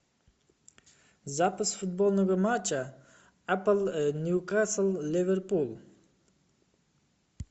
запись футбольного матча апл ньюкасл ливерпуль